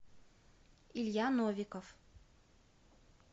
илья новиков